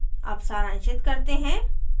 अब सारांशित करते हैं